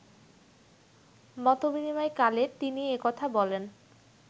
মতবিনিময়কালে তিনি এ কথা বলেন